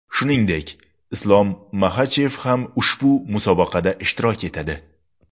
Shuningdek, Islom Maxachev ham ushbu musobaqada ishtirok etadi.